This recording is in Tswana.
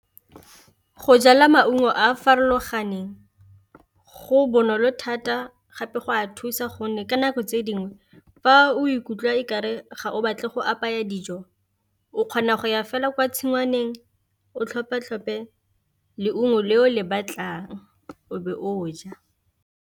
Go jala maungo a a farologaneng go bonolo thata gape go a thusa gonne ka nako tse dingwe fa o ikutlwa okare ga o batle go apaya dijo, o kgona go ya fela kwa tshingwaneng o tlhophe-tlhope leungo le o le batlang o be o ja.